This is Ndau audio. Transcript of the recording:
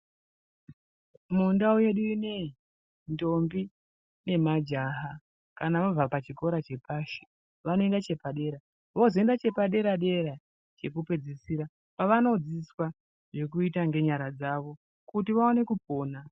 Muntau yedu inoyi, ntombi nemajaha kana vabva pachikora chepashi, vanoenda chepadera, vozoenda chepadera dera chokupedzisira kwavano dzidziswa zvokuita ngenyara dzavo kuti vawane kupona.